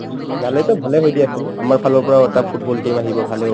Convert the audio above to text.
ওলালেটো ভালে হয় দিয়াচোন আমাৰফালৰ পৰাও এটা football team আহিব ভালে হ'ব